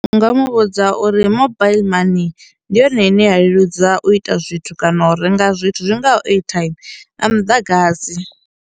Ndi nga muvhudza uri mobile money ndi yone ine ya leludza u ita zwithu kana u renga zwithu zwi ngaho airtime nga muḓagasi.